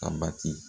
A bati